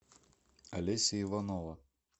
алеся иванова